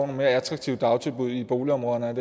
mere attraktive dagtilbud i boligområderne